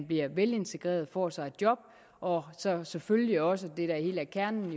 bliver velintegreret får sig et job og selvfølgelig også det er hele kernen